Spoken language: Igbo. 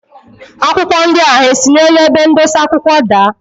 Akwụkwọ ndia ha si n'elu ebe ndosa akwụkwọ daa?